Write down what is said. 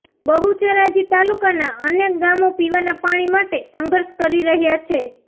બહુચરાજી તાલુકાના અનેક ગામો પીવાના પાણી માટે સંધર્ષ કરી રહયાં છે